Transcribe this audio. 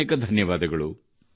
ಅನೇಕಾನೇಕ ಧನ್ಯವಾದ